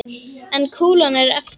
En kúlan er eftir.